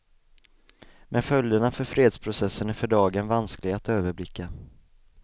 Men följderna för fredsprocessen är för dagen vanskliga att överblicka.